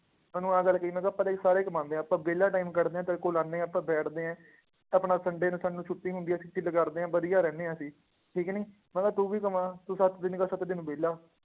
ਮੈਂ ਉਹਨੂੰ ਆਹ ਗੱਲ ਕਹੀ, ਮੈਂ ਕਿਹਾ ਪੈਸੇ ਸਾਰੇ ਕਮਾਉਂਦੇ ਆ ਆਪਾਂ ਵਿਹਲਾ time ਕੱਢਦੇ ਹਾਂ ਤੇਰੇ ਕੋਲ ਆਉਂਦੇ ਹਾਂ ਆਪਾਂ ਬੈਠਦੇ ਹੈ, ਆਪਣਾ sunday ਨੂੰ ਸਾਨੂੰ ਛੁੱਟੀ ਹੁੰਦੀ ਹੈ, ਤੇ ਕਰਦੇ ਹਾਂ ਵਧੀਆ ਰਹਿੰਦੇ ਹਾਂ ਅਸੀਂ, ਠੀਕ ਨੀ, ਮੈਂ ਕਿਹਾ ਤੂੰ ਵੀ ਕਮਾ, ਤੂੰ ਸੱਤ ਦਿਨ ਦਾ ਸੱਤੇ ਦਿਨ ਵਿਹਲਾ